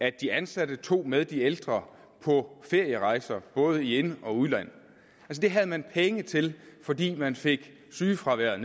at de ansatte tog med de ældre på ferierejser i både ind og udland det havde man penge til fordi man fik sygefraværet